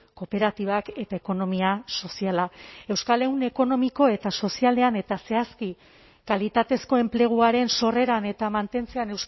kooperatibak eta ekonomia soziala euskal ehun ekonomiko eta sozialean eta zehazki kalitatezko enpleguaren sorreran eta mantentzean